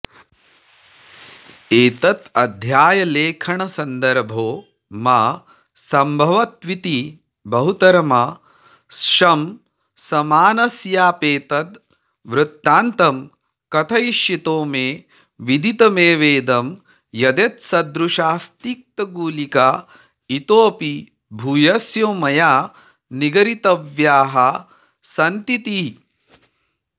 एतदध्यायलेखनसन्दर्भो मा सम्भवत्विति बहुतरमाशंसमानस्याप्येतद्वृत्तान्तं कथयिष्यतो मे विदितमेवेदं यदेतत्सदृशास्तिक्तगुलिका इतोऽपि भूयस्यो मया निगरीतव्याः सन्तीति